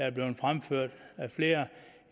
er blevet fremført af flere